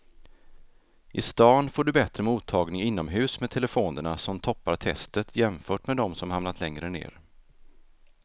I stan får du bättre mottagning inomhus med telefonerna som toppar testet jämfört med de som hamnat längre ner.